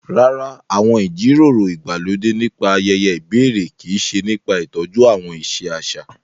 Rárá, àwọn ìjíròrò ìgbàlódé nípa ayeye ìbẹ̀rẹ̀ kii se nipa ìtọ́jú àwọn ìṣe àṣà